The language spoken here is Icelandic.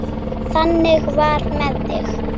Þannig var með þig.